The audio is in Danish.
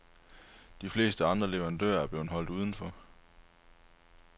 De fleste andre leverandører er blevet holdt uden for.